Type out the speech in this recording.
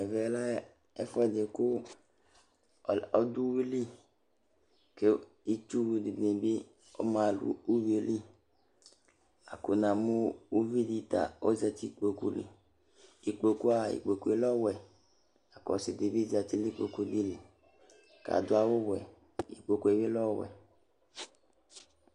Ɛmɛ lɛ ɛfuɛdi ku ɔdu uwili k'itsuwù dini bi ma nu uwuili, la ku namu uvi di ta ɔzati n'ikpoku, ekpoku aa ekpokue lɛ ɔwɛ, k'ɔsi di bi zati n'ikpokue li k'adu awù wɛ, ikpokue bi lɛ ɔwɛ